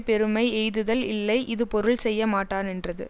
பெருமை எய்துதல் இல்லை இது பொருள் செய்ய மாட்டானென்றது